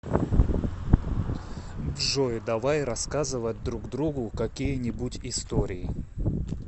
джой давай рассказывать друг другу какие нибудь истории